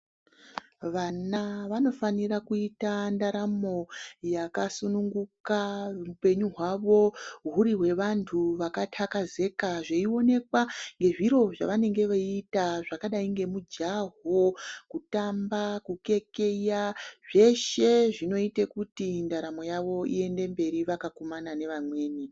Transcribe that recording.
Vana vanofanira kuita ndaramo yakasununguka hupenyu hwavo huri hwevantu vakatakazeka zveionekwa ngezviro zvavanenge veiita zvakadai ngemujaho, kutamba, kukekeya zveshe zvinoite kuti ndaramo yavo iende mberi vakakumana nevamweni.